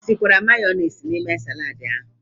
I tikwara mayọniisi n'ime saladi ahụ?